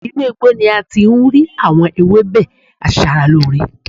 Inú igbó ni ati ń rí àwọn ewébè asara ló ọrẹ